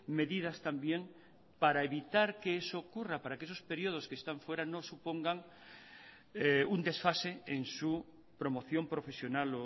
medidas también para evitar que eso ocurra para que esos períodos que están fuera no supongan un desfase en su promoción profesional